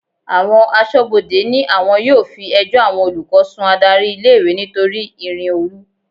Àwọn aṣọ́bodè ní àwọn yóò fi ẹjọ́ àwọn akẹ́kọ̀ọ́ sun adárí ilé-ìwé nítorí ìrìn-òru.